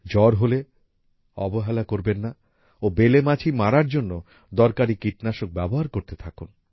জ্বর হলে অবহেলা করবেন না ও বেলে মাছি মারার জন্য দরকারি কীটনাশক ব্যবহার করতে থাকুন